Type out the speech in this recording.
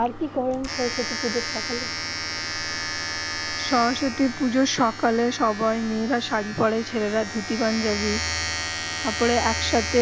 আর কি করেন সরস্বতী পুজো সকালে সরস্বতী সকালে সব মে রা সারি পরে ছেলে রা ধুতি পাঞ্জাবি পরে তার পরে এক সাথে